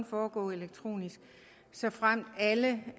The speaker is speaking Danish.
foregå elektronisk såfremt alle